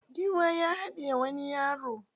Giwa ya haɗiye wani yaro.